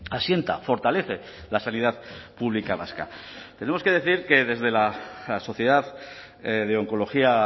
asienta fortalece la sanidad pública vasca tenemos que decir que desde la sociedad de oncología